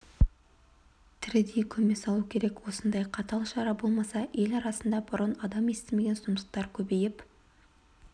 тірідей көме салу керек осындай қатал шара болмаса ел арасында бұрын адам естімеген сұмдықтар көбейіп